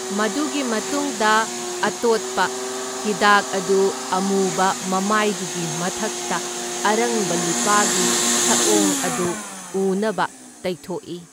ꯃꯗꯨꯒꯤ ꯃꯇꯨꯡꯗ ꯑꯇꯣꯠꯄ ꯍꯤꯗꯥꯛ ꯑꯗꯨ ꯑꯃꯨꯕ ꯃꯃꯥꯏꯗꯨꯒꯤ ꯃꯊꯛꯇ ꯑꯔꯪꯕ ꯂꯨꯄꯥꯒꯤ ꯁꯛꯑꯣꯡ ꯑꯗꯨ ꯎꯅꯕ ꯇꯩꯊꯣꯛꯏ꯫